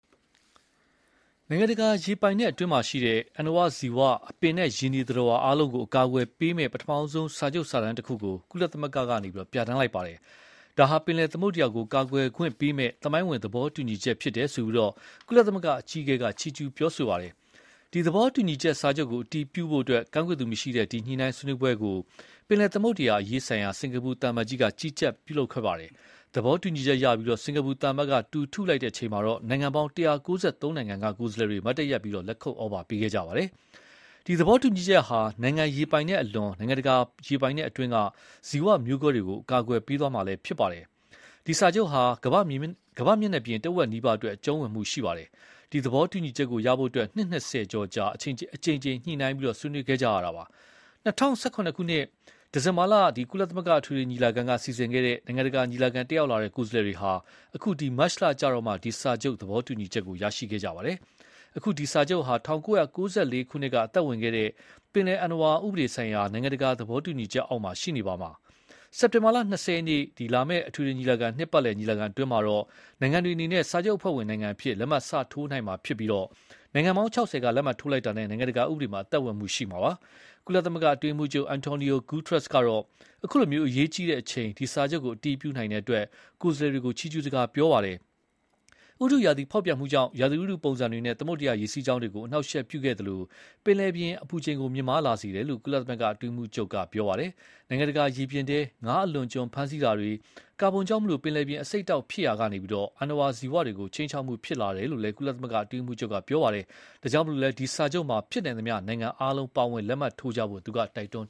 နိုင်ငံတကာရေပိုင်နက်အတွင်းမှာရှိတဲ့ အဏ္ဏဝါဇီ၀ အပင်နဲ့ရေနေသတ္တဝါအားလုံးကို အကာအကွယ်ပေးမယ့် ပထမဆုံးစာချုပ်စာတမ်းတခုကို ကုလသမဂ္ဂမှာ ပြဌာန်းလိုက်ပါတယ်။ ဒါဟာ ပင်လယ်သမုဒ္ဒရာကို ကာကွယ် ခွင့်ပေးမယ့် သမိုင်းဝင် သဘောတူညီချက်ဖြစ်တယ်လို့ ကုလသမဂ္ဂအကြီးအကဲက ချီးကျူးပြောဆို လိုက်ပါ တယ်။ ဒီသဘောတူညီစာချုပ်ကို အတည်ပြုဖို့ ကန့်ကွက်သူမရှိတဲ့ ဒီညှိုနှိုင်းဆွေးနွေးပွဲကို ပင်လယ်သမုဒ္ဒရာ အရေးဆိုင်ရာ စင်ကာပူသံအမတ်ကြီးက ကြီးကြပ်ခဲ့ပါတယ်။ သဘောတူညီချက်ရပြီး စင်္ကာပူသံအမတ်က တူထုလိုက်တဲ့အချိန်မှာတော့ နိုင်ငံပေါင်း ၁၉၃ နိုင်ငံက ကိုယ်စား လှယ်တွေ မတ်တတ်ရပ်ပြီး လက်ခုတ်ဩဘာပေးခဲ့ကြပါတယ်။ ဒီသဘောတူညီချက်ဟာ နိုင်ငံရေပိုင်နက် အလွန် နိုင်ငံတကာပိုင်နက်အတွင်းက ဇီ၀မျိုးစုံးမျိုးကွဲအားလုံးကို အကာအကွယ်ပေးမှာ ဖြစ်ပါတယ်။ ဒီစာချုပ်ဟာ ကမ္ဘာ့မျက်နှာပြင် တဝက်နီးပါးအတွက် အကျုံးဝင်သွားမှာပါ။ ဒီ သဘောတူညီချက်ကိုရဖို့ နှစ် ၂၀ကျော်ကြာ အကြိမ်ကြိမ်ညှိုနှိုင်းဆွေးနွေးခဲ့ရတာဖြစ်ပါတယ်။ ၂၀၁၇ ခုနှစ်၊ ဒီဇင်ဘာလ ကုလသမဂ္ဂအထွေထွေညီလာခံက စီစဉ်ခဲ့တဲ့ နိုင်ငံတကာညီလာခံကို တက်ရောက် လာတဲ့ ကိုယ်စားလှယ်တွေဟာ အခု မတ်လကျမှ ဒီစာချုပ်ကို သဘောတူညီချက်ရရှိပါတယ်။ အခု ဒီစာချုပ်ဟာ ၁၉၉၄ ခုနှစ်က အသက်ဝင်ခဲ့တဲ့ ပင်လယ်အဏ္ဏဝါဥပဒေဆိုင်ရာ နိုင်ငံတကာသဘောတူညီချက် အောက်မှာ ရှိနေပါဦးမယ်။ စက်တင်ဘာလ ၂၀ ရက်နေ့ လာမယ့် အထွေထွေညီလာခံနှစ်ပတ်လည်ညီလာခံအတွင်းမှာ နိုင်ငံတွေအနေနဲ့ စာချုပ်အဖွဲ့ဝင်နိုင်ငံအဖြစ် လက်မှတ်စထိုးနိုင်မှာဖြစ်ပြီး၊ နိုင်ငံပေါင်း ၆၀ က လက်မှတ်ထိုးလိုက်တာနဲ့ နိုင်ငံတကာဥပဒေမှာ အသက်ဝင်မှာဖြစ်ပါတယ်။ ကုလအတွင်းရေးမှုးချုပ် Antonio Guterres ကတော့ အခုလို အရေးကြီးတဲ့အချိန် ဒီစာချုပ်ကို အတည်ပြုနိုင်တဲ့အတွက် ကိုယ်စားလှယ်တွေကို ချီးကျူး စကားပြောပါတယ်။ ဥတုရာသီဖောက်ပြန်မှုဟာ ရာသီဥတုပုံစံတွေနဲ့ သမုဒ္ဒရာရေစီးကြောင်းတွေကို အနှောက်အယှက်ပြုသလို၊ ပင်လယ်ပြင်အပူချိန်ကို မြင့်မားလာစေတယ်လို့ ကုလအတွင်းရေးမှုးချုပ်က ပြောပါတယ်။ နိုင်ငံတကာရေပြင်ထဲ ငါးအလွန်အကျွံဖမ်းဆီးတာတွေ၊ ကာဗွန်ကြောင့် ပင်လယ်ပြင်အဆိပ်အတောက် ဖြစ်ရာကနေ အဏ္ဏဝါဇီ၀တွေကို ခြိမ်းခြောက်မှုဖြစ်လာတယ်လို့လည်း ဆိုပါတယ်။ ဒါကြောင့်လည်း ဒီစာချုပ်မှာဖြစ်နိုင်သမျှ နိုင်ငံအားလုံးပါဝင်လက်မှတ်ထိုးကြဖို့လည်း သူက တိုက်တွန်း